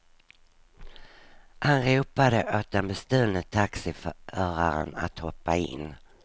Han ropade åt den bestulne taxiföraren att hoppa in.